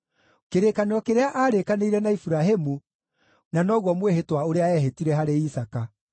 kĩrĩkanĩro kĩrĩa aarĩkanĩire na Iburahĩmu, na noguo mwĩhĩtwa ũrĩa eehĩtire harĩ Isaaka.